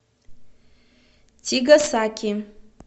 тигасаки